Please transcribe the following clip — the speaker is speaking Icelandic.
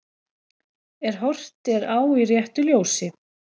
Ef horft er á í réttu ljósi.